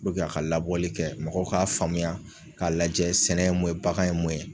Puruke a ka labɔli kɛ mɔgɔw k'a faamuya k'a lajɛ sɛnɛ o ye mun bagan ye mun ye